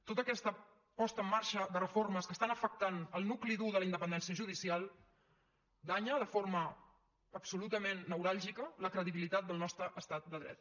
tota aquesta posada en marxa de reformes que estan afectant el nucli dur de la independència judicial danya de forma absolutament neuràlgica la credibilitat del nostre estat de dret